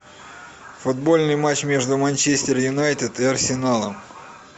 футбольный матч между манчестер юнайтед и арсеналом